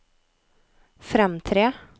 fremtre